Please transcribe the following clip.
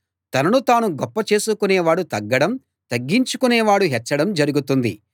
తనను తాను గొప్ప చేసుకునేవాడు తగ్గడం తగ్గించుకునేవాడు హెచ్చడం జరుగుతుంది